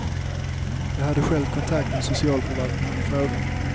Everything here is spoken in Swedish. Jag hade själv kontakt med socialförvaltningen i frågan.